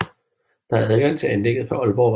Der er adgang til anlægget fra Ålborgvej